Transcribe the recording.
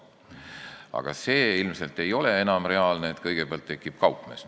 Aga see ilmselt ei ole enam reaalne, et kõigepealt tuleb kaupmees.